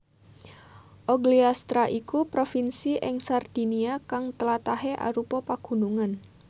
Ogliastra iku provinsi ing Sardinia kang tlatahé arupa pagunungan